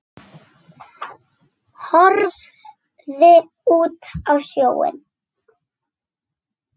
Horfði út á sjóinn.